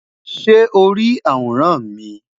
Ṣe o ri aworan mi?